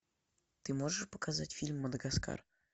ты можешь показать фильм мадагаскар